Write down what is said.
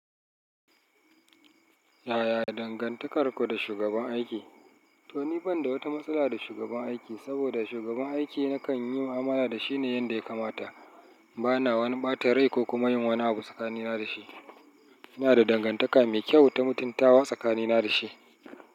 Yaya dangantakarku da shugaban aiki? To ni ban da wata matsala da shugaban aiki, saboda shugaban aiki nakan yi mu'amala da shi ne yanda ya kamata. Bana wani ɓata rai ko kuma yin wani abu tsakanina da shi. Ina da dangantaka mai kyau ta mutuntawa tsakanina da shi.